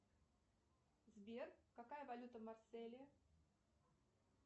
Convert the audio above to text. сбер какая валюта в марселе